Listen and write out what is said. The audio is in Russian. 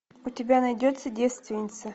у тебя найдется девственница